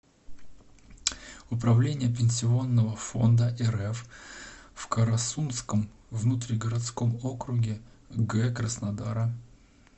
управление пенсионного фонда рф в карасунском внутригородском округе г краснодара